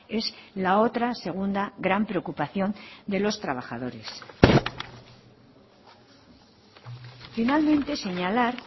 es la otra segunda gran preocupación de los trabajadores finalmente señalar